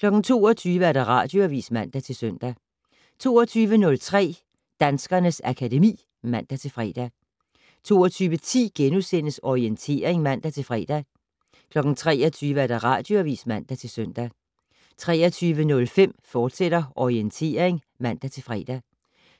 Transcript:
* 22:00: Radioavis (man-søn) 22:03: Danskernes akademi (man-fre) 22:10: Orientering *(man-fre) 23:00: Radioavis (man-søn) 23:05: Orientering, fortsat (man-fre)